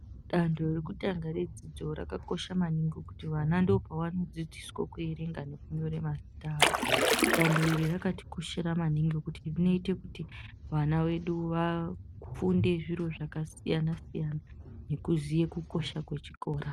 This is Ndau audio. Dando rekutanga redzidzo rakakosha maningi kuti vana ndopavanodzidziswo kuerenga nekunyore mazita awo. Danho iri rakatikoshera maningi kuti rinoite kuti vana vedu vafunde zviro zvakasiyana-siyana nekuziye kukosha kwechikora.